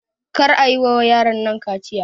Kar ayi wa yaron nan kaciya!